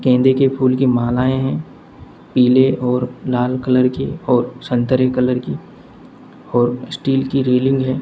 गेंदे के फूल की मालाएं हैं पीले और लाल कलर की और संतरे कलर की और स्टील की रेलिंग है।